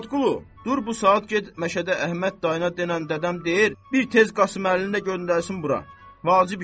Muradqulu, dur bu saat get məşədə Əhməd dayına denən dədəm deyir, bir tez Qasım Əlini də göndərsin bura, vacib işi var.